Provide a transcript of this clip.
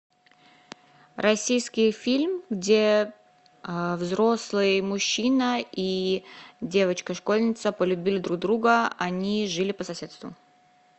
российский фильм где взрослый мужчина и девочка школьница полюбили друг друга они жили по соседству